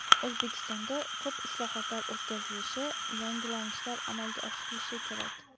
O‘zbekistonda ko‘p islohotlar o‘tkazilishi, yangilanishlar amalga oshirilishi kerak.